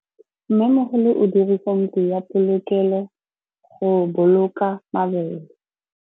Mmêmogolô o dirisa ntlo ya polokêlô, go boloka mabele.